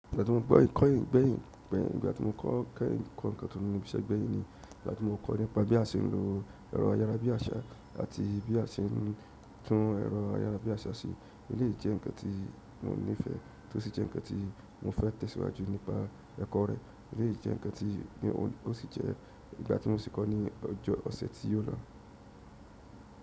Ìgbà tí mo kọ ẹkọ ǹkan tí mo ní ibiṣẹ gbẹyin ni, ìgbà tí mo kọ nípa bí a ṣe nlo ẹrọ ayára bí aṣa àti bí a ṣe ń tún ẹrọ ayára bí aṣa ṣe, eléyi jẹ ǹkan tí mo nifẹ tó sì jẹ ǹkan tí mo fẹ tẹ̀síwájú nípa ẹkọ rẹ, ó lè jẹ ǹkan ti bí ó sì jẹ ìgbà tí mo sì kọ ní ọjọ ọsẹ tí o lọ.